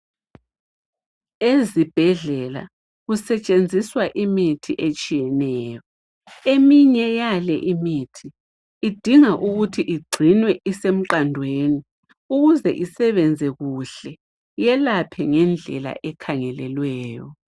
Ezibhedlela kusetshenziswa imithi etshiyeneyo, eminye yale imithi idinga ukuthi igcinwe isemqandweni ukuze isebenze kuhle, yelaphe ngendlela ekhangelelweyo.